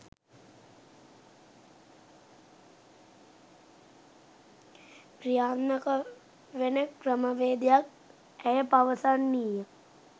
ක්‍රියාත්මක වෙන ක්‍රමවේදයක්" ඇය පවසන්නීය..